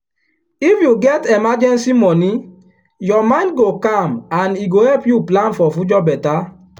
if you get emergency money your mind go calm and e go help you plan for future better.